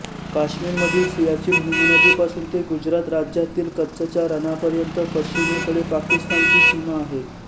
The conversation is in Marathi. काश्मीर मधील सियाचीन हिमनदीपासून ते गुजरात राज्यातील कच्छच्या रणापर्यंत पश्चिमेकडे पाकिस्तानची सीमा आहे